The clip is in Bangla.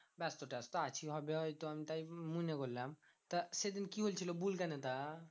ব্যাস্ত ট্যাস্ট আছিস হবে হয়ত আমি তাই মনে করলাম। তা সেদিন কি হয়েছিল বুলগেনে তা?